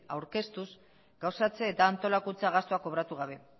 aurkeztuz gauzatze eta antolakuntza gastuak kobratu gabe